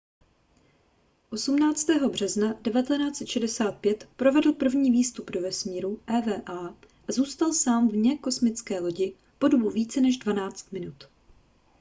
18. března 1965 provedl první výstup do vesmíru eva a zůstal sám vně kosmické lodi po dobu více než dvanáct minut